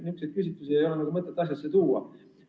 Niisuguseid küsitlusi ei ole mõtet asjasse tuua.